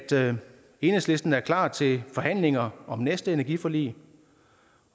enhedslisten er klar til forhandlinger om næste energiforlig